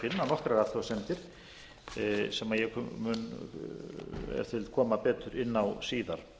nokkrar athugasemdir sem ég mun ef til vill koma betur inn á síðar